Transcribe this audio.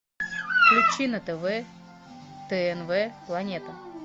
включи на тв тнв планета